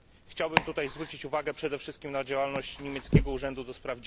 Chciałbym tutaj zwrócić uwagę przede wszystkim na działalność niemieckiego Urzędu ds.